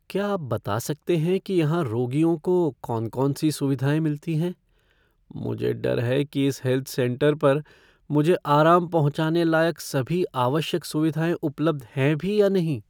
क्या आप बता सकते हैं कि यहाँ रोगियों को कौन कौन सी सुविधाएं मिलती हैं? मुझे डर है कि इस हेल्थ सेंटर पर मुझे आराम पहुँचाने लायक सभी आवश्यक सुविधाएं उपलब्ध हैं भी या नहीं।